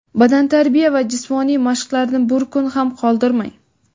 badantarbiya va jismoniy mashqlarni bir kun ham qoldirmang!.